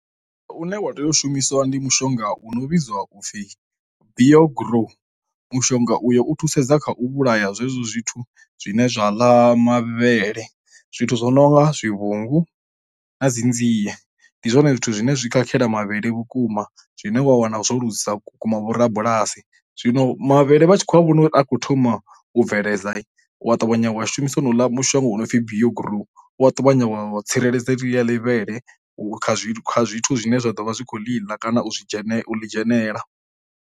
Une wa tea u shumiswa ndi mushonga u no vhidzwa upfi bio grow. Mushonga uyo u thusedza kha u vhulaya zwezwo zwithu zwine zwa ḽa mavhele. Zwithu zwo no nga zwivhungu na dzi nzie, ndi zwone zwithu zwine zwi khakhela mavhele vhukuma zwine wa wana zwo lugisa vhukuma vhorabulasi. Zwino mavhele vha tshi khou a vhona uri a khou thoma u bveledza, u ya ṱavhanya wa shumisa honouḽa mushonga honopfi bio grow uya ṱavhanya wa tsireledza ḽeḽiya ḽivhele kha zwithu, kha zwithu zwine zwa ḓo vha zwi khou ḽiḽa kana u zwi dzhene u ḽi dzhenelela.